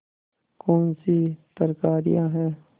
कौनसी तरकारियॉँ हैं